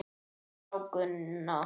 Já, Gunna.